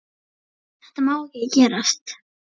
Þetta má ekki gerast.